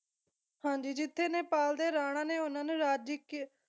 ਹਾਂਜੀ ਜਿੱਥੇ ਨੇਪਾਲ ਦੇ ਰਾਣਾ ਨੇ ਉਹਨਾਂ ਨੂੰ ਰਾਜੀ ਕੀ